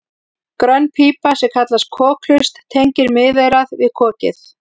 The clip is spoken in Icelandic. grönn pípa sem kallast kokhlust tengir miðeyrað við kokið